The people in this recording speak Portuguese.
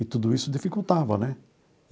E tudo isso dificultava, né?